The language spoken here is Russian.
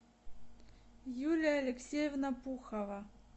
юлия алексеевна пухова